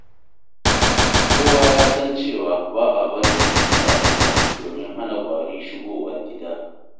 Kowa ya san cewa ba a barin abinci a ƙasa domin hana kwari shigowa gida.